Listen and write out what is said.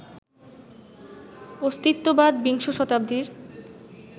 অস্তিত্ববাদ বিংশ শতাব্দীর